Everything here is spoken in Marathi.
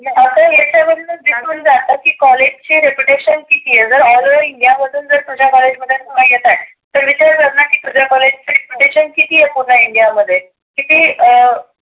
आपल्याला हेच्या वर्णच दिसून जातो की कॉलेज चे रेप्युटेशन किती आहे आग all over India मधुन जर तुझ्या कॉलेज मध्ये candidate येत आहेत. तर विचार कर ना की तुझ्या कॉलेज ची रेप्युटेशन किती आहे इंडिया मध्ये. किती अं